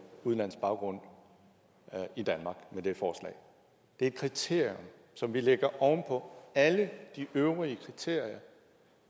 udenlandsk baggrund i danmark det er et kriterium som vi lægger oven på alle de øvrige kriterier